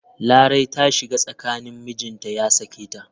Larai ta shiga tsakani mijinta ya sake ta.